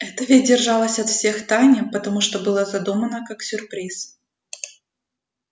это ведь держалось от всех в тайне потому что было задумано как сюрприз